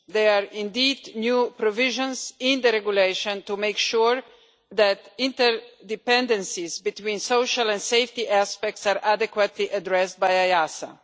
There are indeed new provisions in the regulation to make sure that interdependencies between social and safety aspects are adequately addressed by EASA.